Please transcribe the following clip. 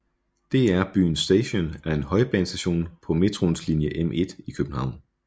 DR Byen Station er en højbanestation på Metroens linje M1 i København